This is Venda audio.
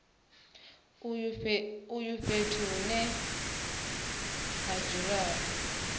uyu fhethu hune ha dzuliwa